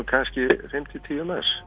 kannski fimm til tíu manns